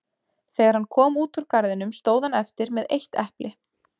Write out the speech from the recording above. Þegar hann kom út úr garðinum stóð hann eftir með eitt epli.